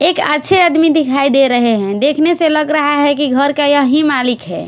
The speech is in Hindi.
एक अच्छे आदमी दिखाई दे रहे हैं देखने से लग रहा है कि घर के यही मालिक है।